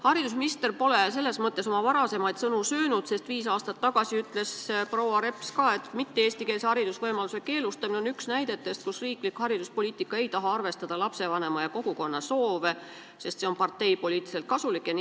Haridusminister pole oma varasemaid sõnu söönud, sest viis aastat tagasi ütles proua Reps ka, et mitte-eestikeelse hariduse võimaluse keelustamine on üks näide valdkonna kohta, kus riiklik hariduspoliitika ei taha arvestada lapsevanemate ja kogukonna soove, sest see on parteipoliitiliselt kasulik.